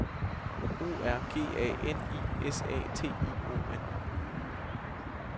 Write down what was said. O R G A N I S A T I O N